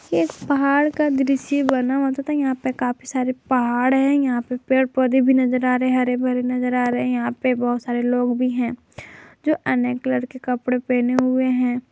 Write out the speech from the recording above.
इस पहाड़ का दृश्य बना हुआ है तथा यहां पे काफी सारे पहाड़ है यहां पे पेड़ पौधे भी नजर आ रहे हैं हरे भरे नजर आ रहे हैं यहां पर बहुत सारे लोग भी हैं जो अनेक कलर कपड़े पहने हुए हैं।